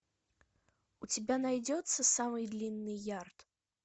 у тебя найдется самый длинный ярд